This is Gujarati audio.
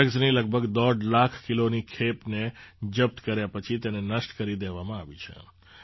ડ્રગ્સની લગભગ દોઢ લાખ કિલોની ખેપને જપ્ત કર્યા પછી તેને નષ્ટ કરી દેવામાં આવી છે